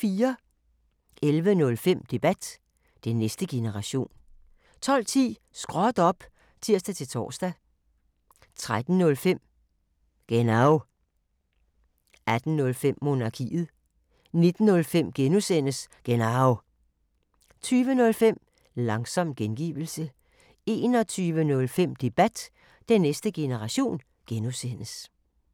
11:05: Debat: Den næste generation 12:10: Småt op! (tir-tor) 13:05: Genau 18:05: Monarkiet 19:05: Genau (G) 20:05: Langsom gengivelse 21:05: Debat: Den næste generation (G)